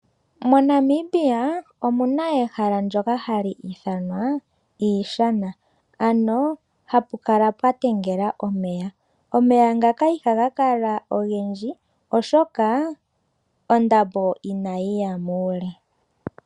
MoNamibia omuna ehala ndyoka hali ithanwa iishana ano hapu kala pwatengela omeya. Omeya ngaka ihaga kala ogendji oshoka ondambo inayi ya muule.